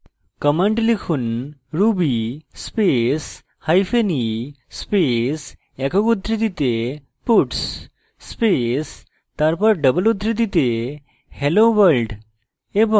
command লিখুন ruby space hyphen e space একক উদ্ধৃতিতে puts space তারপর double উদ্ধৃতিতে hello world এবং